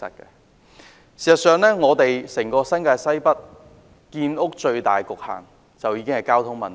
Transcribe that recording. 事實上，整個新界西北建屋的最大局限在於交通問題。